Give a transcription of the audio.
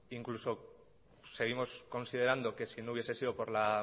incluso seguimos considerando que si no hubiese sido por la